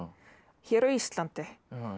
hér á Íslandi